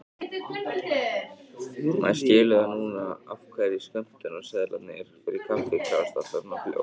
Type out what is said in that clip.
Maður skilur það núna af hverju skömmtunarseðlarnir fyrir kaffið klárast alltaf svona fljótt!